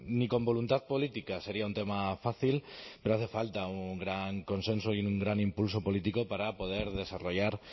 ni con voluntad política sería un tema fácil pero hace falta un gran consenso y un gran impulso político para poder desarrollar